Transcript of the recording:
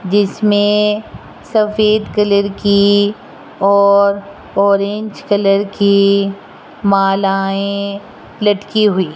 जिसमें सफेद कलर की और ऑरेंज कलर की मालाएं लटकी हुई --